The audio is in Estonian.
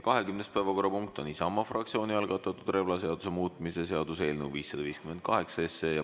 20. päevakorrapunkt on Isamaa fraktsiooni algatatud relvaseaduse muutmise seaduse eelnõu 558.